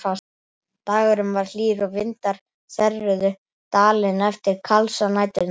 Dagurinn var hlýr og vindar þerruðu Dalina eftir kalsa næturinnar.